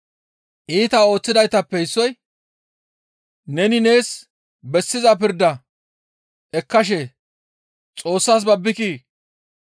Iita ooththidaytappe issoy, «Neni nees bessiza pirda ekkashe Xoossas babbikii?